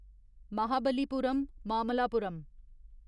Mahabalipuram Mamallapuram